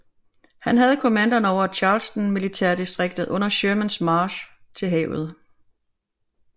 Han havde kommandoen over Charleston militærdistriktet under Shermans march til havet